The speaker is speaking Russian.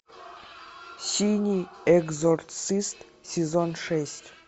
синий экзорцист сезон шесть